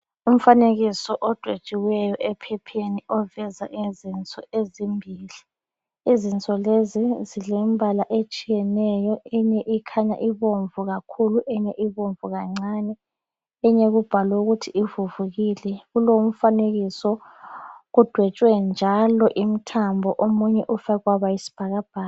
Umfanekiso odwetshiweyo ephepheni oveza izinso ezimbili, izinso lezi zilembala etshiyeneyo eyinye ikhanya ibomvu kakhulu eyinye ibomvu kancane eyinye kubhalwe ukuthi kuvuvukile kulomfanekiso odwetshiweyo njalo imthambo omunye ufakwe waba yisibhakabhaka.